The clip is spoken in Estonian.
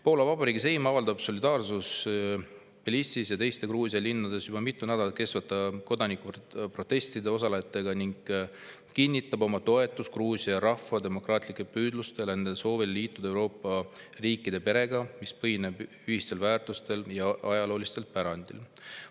Poola Vabariigi Seim avaldab solidaarsust Tbilisis ja teistes Gruusia linnades juba mitmendat nädalat kestvatel kodanikuprotestidel osalejatega ning kinnitab oma toetust Gruusia rahva demokraatlikele püüdlustele nende soovil liituda Euroopa riikide perega, mis põhineb ühistel väärtustel ja ajaloolisel pärandil.